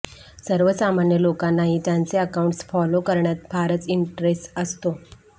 सर्वसामान्य लोकांनाही त्यांचे अकाउंट्स फॉलो करण्यात फारच इंटरेस्ट असतो